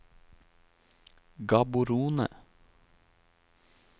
Gaborone